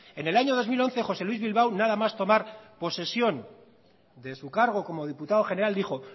en el año dos mil once josé luis bilbao nada más tomar posesión de su cargo como diputado general dijo